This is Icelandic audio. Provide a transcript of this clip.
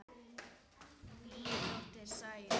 Þín dóttir, Sæunn.